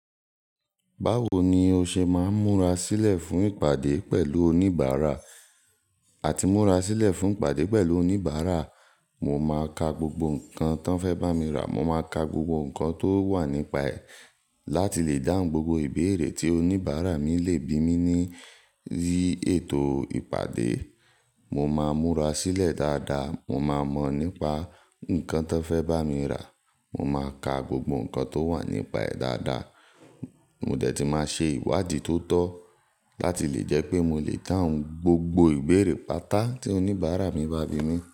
Báwo ni o ṣe máa ń múra sílẹ̀ fún ìpàdé pẹ̀lú oníbàárà? Àti múra sílẹ̀ fún ìpàdé pẹ̀lú oníbàárà, mo máa ka gbogbo nǹkan tí wọ́n fẹ́ bá mi rà. Mo máa ka gbogbo nǹkan tó wà nípa ẹ̀ láti lè dáhùn gbogbo ìbéèrè tí oníbàárà mi lè bí mí ní ori ètò ìpàdé. Mo máa múra sílẹ̀ dáadáa, mo máa mọ̀ nípa nǹkan tí wọ́n fẹ́ bá mi rà, mo máa ka gbogbo nǹkan tó wà nípa ẹ̀ dáadáa. Mo dẹ̀ ti máa ṣe ìwádìí tó tọ́ láti lè jẹ́ pé mo lè dáhùn gbogbo ìbéèrè pàtà tí oníbàárà mi bá bí mi.